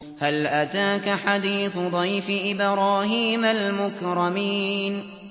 هَلْ أَتَاكَ حَدِيثُ ضَيْفِ إِبْرَاهِيمَ الْمُكْرَمِينَ